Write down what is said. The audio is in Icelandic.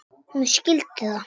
Hún skildi það.